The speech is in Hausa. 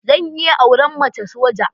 Zan iya auren mace soja.